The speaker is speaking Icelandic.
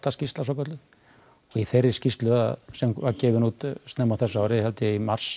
skýrsla svokölluð í þeirri skýrslu sem var gefin út snemma á þessu ári í mars